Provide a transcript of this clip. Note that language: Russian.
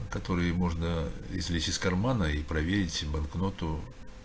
которые можно извлечь из кармана и проверить банкноту